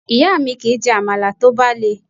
Ìyá mi kì í jẹ Àmàlà tó bá le.